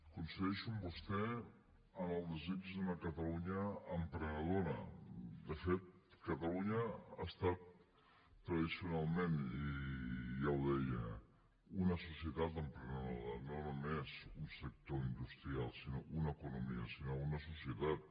coincideixo amb vostè en el desig d’una catalunya emprenedora de fet catalunya ha estat tradicionalment i ja ho deia una societat emprenedora no només un sector industrial sinó una economia sinó una societat